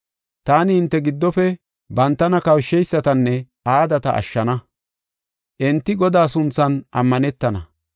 Taani hinte giddofe bantana kawusheysatanne aadata ashshana; enti Godaa sunthan ammanetana.